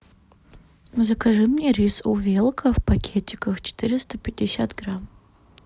закажи мне рис увелка в пакетиках четыреста пятьдесят грамм